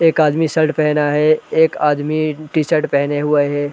एक आदमी शर्ट पहना है। एक आदमी टीशर्ट पहने हुआ है।